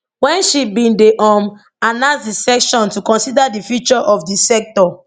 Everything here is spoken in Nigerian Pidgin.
wen she bin dey um announce a session to consider di future of di sector